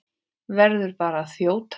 Verð bara að þjóta!